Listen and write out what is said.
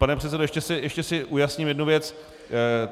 Pane předsedo, ještě si ujasním jednu věc.